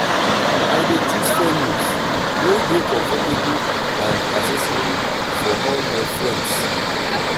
i dey choose venues wey dey comfortable and accessible for all my friends.